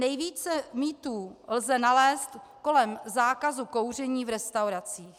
Nejvíce mýtů lze nalézt kolem zákazu kouření v restauracích.